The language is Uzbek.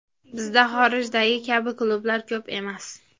Bizda xorijdagi kabi klublar ko‘p emas.